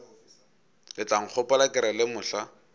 letlankgopola ke re le mohla